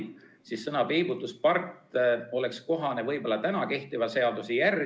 Ent see sõna oleks võib-olla kohane üksnes praegu kehtiva seaduse puhul.